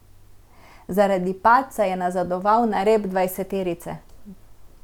Zaradi padca je nazadoval na rep dvajseterice.